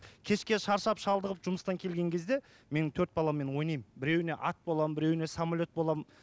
кешке шаршап шалдығып жұмыстан келген кезде мен төрт баламмен ойнаймын біреуіне ат боламын біреуіне самолет боламын